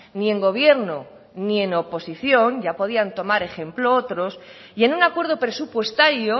ni en gobierno ni en oposición ya podían tomar ejemplo otros y en un acuerdo presupuestario